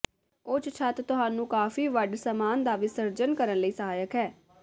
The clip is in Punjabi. ਉੱਚ ਛੱਤ ਤੁਹਾਨੂੰ ਕਾਫ਼ੀ ਵੱਡ ਸਾਮਾਨ ਦਾ ਵਿਸਰਜਨ ਕਰਨ ਲਈ ਸਹਾਇਕ ਹੈ